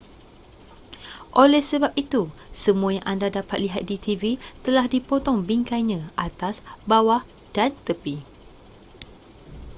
oleh sebab itu semua yang anda dapat lihat di tv telah dipotong bingkainya atas bawah dan tepi